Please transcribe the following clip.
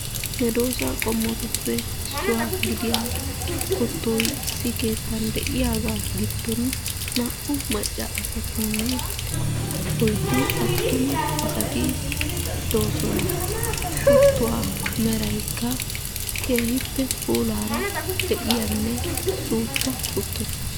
Medoosa qommotuppe issuwaa gidiyaa kuttoy issi keetta giddon de'iyaaga giddon naa''u macca asatinne oyddu attumaasati de'oosona. Kuttuwaa meraykka lo''iyaa meraara de'iyaagaanne suuppa kuttota.